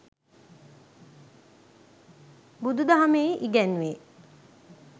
බුදු දහමෙහි ඉගැන්වේ.